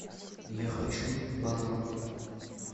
я хочу банан